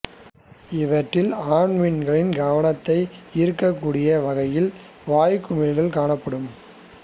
இவற்றில் ஆண் மீன்கள் கவனத்தை ஈர்க்கக் கூடிய வகையில் வாய்க் குழிக் காணப்படும்